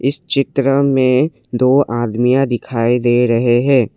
इस चित्र में दो आदमियाँ दिखाई दे रहे हैं।